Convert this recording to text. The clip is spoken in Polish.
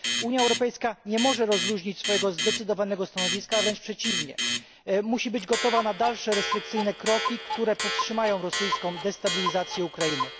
Unia Europejska nie może rozluźnić swojego zdecydowanego stanowiska, a wręcz przeciwnie, musi być gotowa na dalsze restrykcyjne kroki, które powstrzymają rosyjską destabilizację Ukrainy.